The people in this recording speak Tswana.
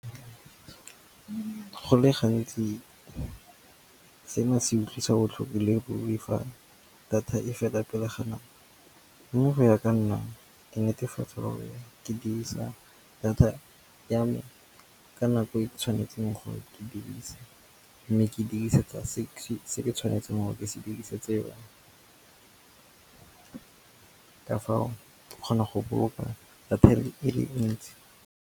Go le gantsi seno se utlwisa botlhoko le boifang data e feta pelegi nnang mo. Mme go ya ka nna ke netefatsa gore ke dirisa data ya me ka nako e tshwanetseng gore ke e dirise mme ke e dirisetsa se ke tshwanetseng gore ke se dirisitse yone. Ka fao ke kgona go boloka data e le ntsi.